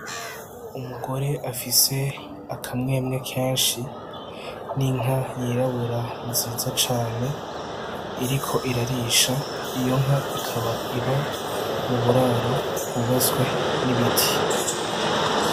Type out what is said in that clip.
Umugore afise akamwemwe kenshi n'inka y'irabura nziza cane iriko irarisha, iyo nka ikaba iba mu buraro bwubatswe n'ibiti.